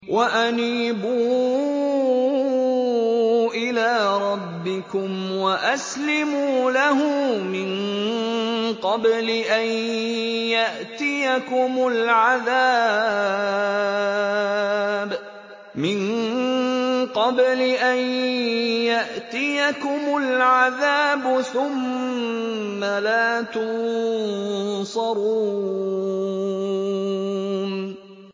وَأَنِيبُوا إِلَىٰ رَبِّكُمْ وَأَسْلِمُوا لَهُ مِن قَبْلِ أَن يَأْتِيَكُمُ الْعَذَابُ ثُمَّ لَا تُنصَرُونَ